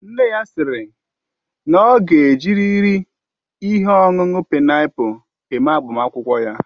Nne ya siri na ọ ga ejiriri ihe ọṅụṅụ paịnapul eme agbamakwụkwọ ya